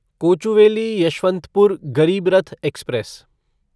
Kochuveli Yesvantpur Garib Rath express